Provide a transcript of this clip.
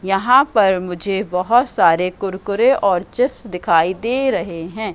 यहां पर मुझे बहुत सारे कुरकुरे और चिप्स दिखाई दे रहे हैं।